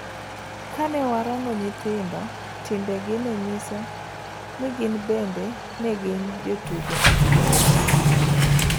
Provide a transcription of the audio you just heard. Kane warango nyithindo, timbegi nenyiso nigibende negin jotugo e siganano.